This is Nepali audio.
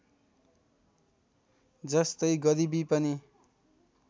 जस्तै गरिबी पनि